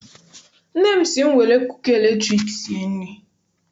Nne m sị m were kuka latriki sie nri.